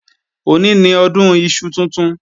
Òní ni Ọdún iṣu tuntun